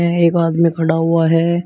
है एक आदमी खड़ा हुआ है।